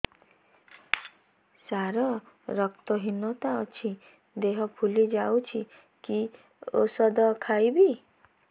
ସାର ମୋର ରକ୍ତ ହିନତା ଅଛି ଦେହ ଫୁଲି ଯାଉଛି କି ଓଷଦ ଖାଇବି